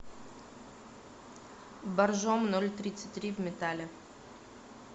боржоми ноль тридцать три в металле